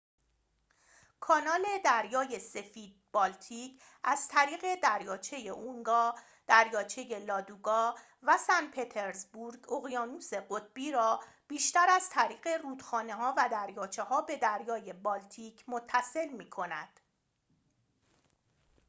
کانال دریای سفید-بالتیک از طریق دریاچه اونگا دریاچه لادوگا و سنت‌پطرزبورگ اقیانوس قطبی را بیشتر از طریق رودخانه‌ها و دریاچه‌ها به دریای بالتیک متصل می‌کند